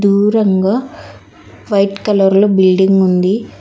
దూరంగ white colour లో building ఉంది.